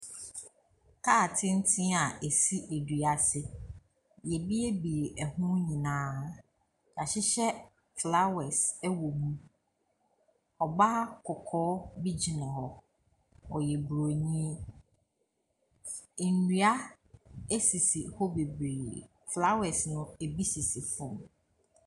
Kaa tenten a asi adua ase. Y'ɛbiebie ɛho nyinaa. Y'ahyehyɛ flawɛs ɛwɔ mu. Ɔbaa kɔkɔɔ bi gyina hɔ ɔyɛ broni. Nnua asisi hɔ bebree. Flawɛs no ebi sisi fɔm.